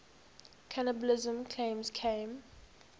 cannibalism claims came